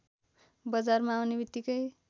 बजारमा आउने बित्तिकै